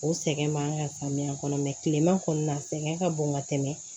O sɛgɛn b'an ka samiya kɔnɔ kilema kɔni na sɛgɛn ka bon ka tɛmɛ